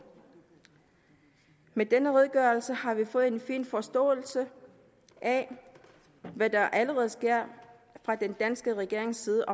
med denne redegørelse har vi fået en fin forståelse af hvad der allerede sker fra den danske regerings side